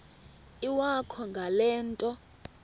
iwakho ngale nto